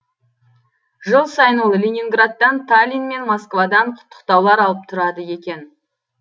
жыл сайын ол ленинградтан таллин мен москвадан құттықтаулар алып тұрады екен